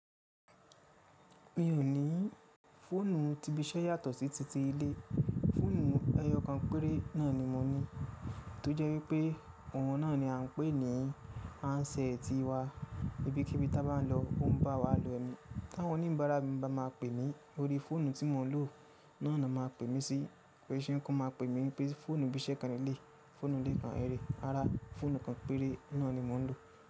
Mi ò ní fóònù tí bisẹ́ yàtọ̀ sí ti ti ilé. Fóònù ẹyọ kan péré náà ni mo ní. Tójẹ́ wípẹ́ òun náà ni à ń pè ní Anse tiwa. Ibi kébí tá bá n lọ ó ń bá wa lo ẹni. Táwọn oníbàárà mi bá máa pè mí, lórí fóònù tí mò ń lò náà náà ma pè mí sí. Kise kan ma pè mí pé fóònù bisẹ́ kan léleyii, fóònù ilé kan leleyii. Rárá, fóònù kan péré náà ni mò ń lò.